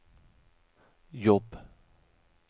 jobb